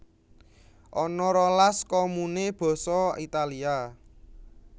Ana rolas komune basa Italia